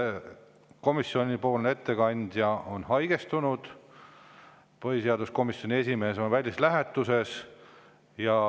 Komisjoni ettekandja on haigestunud ja põhiseaduskomisjoni esimees on välislähetuses.